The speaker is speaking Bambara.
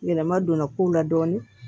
Yɛlɛma donna kow la dɔɔnin